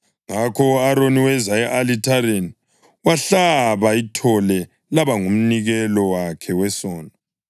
Ngakho u-Aroni weza e-alithareni, wahlaba ithole laba ngumnikelo wakhe wesono.